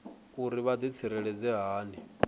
uri vha ḓitsireledza hani uri